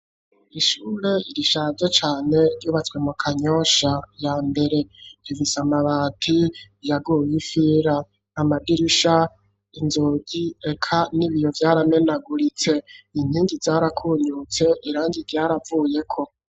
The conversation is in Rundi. Ishure rishaze cane ryubatswe mu Kanyosha ya mbere ifise amabati yaguye ifira amadirisha inzugi eka n'ibiyo vyaramenaguritse inkingi zarakunyutse irangi ryaravuyeko.